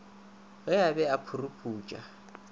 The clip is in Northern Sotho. ge a be a phuruputša